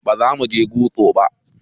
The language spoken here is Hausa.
Bazamuje gusto ba